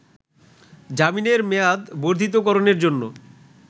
জামিনের মেয়াদ বর্ধিতকরণের জন্য